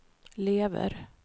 lever